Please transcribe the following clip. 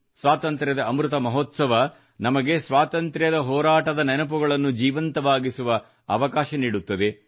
ಸ್ವಾತಂತ್ರ್ಯದ ಅಮೃತ ಮಹೋತ್ಸವ ನಮಗೆ ಸ್ವಾತಂತ್ರ್ಯ ಹೋರಾಟದ ನೆನಪುಗಳನ್ನು ಜೀವಂತವಾಗಿಸುವ ಅವಕಾಶ ನೀಡುತ್ತದೆ